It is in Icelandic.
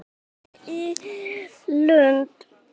Heim í Lund.